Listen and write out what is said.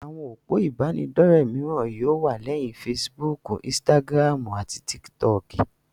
Àwọn òpó ìbánidọ́rẹ̀ mìíràn yóò wà, léyìn fesibúùkù, insitagiramu àti tikitoki.